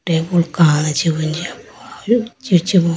tabool kachi bo jiya po chi chibo